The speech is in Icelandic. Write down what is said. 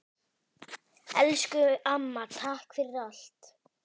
Elsku amma, takk fyrir allt!